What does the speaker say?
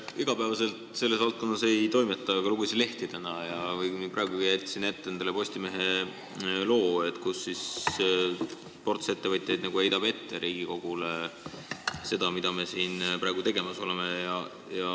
Iga päev ma selles valdkonnas ei toimeta, aga lugesin täna lehti ja praegu jätsin endale ette Postimehe loo, kus ports ettevõtjaid heidab Riigikogule ette seda, mida me siin praegu tegemas oleme.